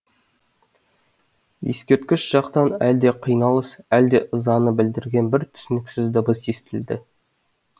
ескерткіш жақтан әлде қиналыс әлде ызаны білдірген бір түсініксіз дыбыс естілді